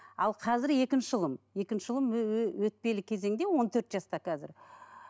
ал қазір екінші ұлым екінші ұлым өтпелі кезеңде он төрт жаста қазір